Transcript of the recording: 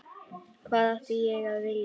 Hvað átti ég að vilja?